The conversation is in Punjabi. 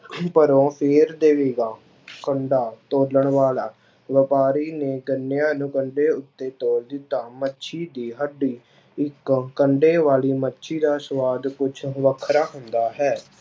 ਭਰੋ ਫਿਰ ਢਹੇਗਾ ਕੰਡਾ ਤੋਲਣ ਵਾਲਾ ਵਾਪਾਰੀ ਨੇ ਗੰਨਿਆਂ ਨੂੰ ਕੰਡੇ ਉੱਤੇ ਤੋਲ ਦਿੱਤਾ, ਮੱਛੀ ਦੀ ਹੱਡੀ ਇੱਕ ਕੰਡੇ ਵਾਲੀ ਮੱਛੀ ਦਾ ਸਵਾਦ ਕੁਛ ਵੱਖਰਾ ਹੁੰਦਾ ਹੈ।